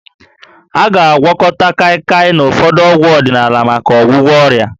A ga-agwakọta Kaịkaị na ụfọdụ ọgwụ ọdịnaala maka ọgwụgwọ ọrịa